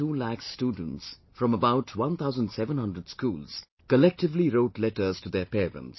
25 lakh students from about 1700 schools collectively wrote letters to their parents